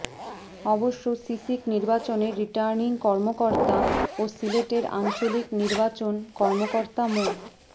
অবশ্য সিসিক নির্বাচনের রিটার্নিং কর্মকর্তা ও সিলেটের আঞ্চলিক নির্বাচন কর্মকর্তা মো